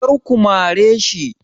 Kar ku mare shi!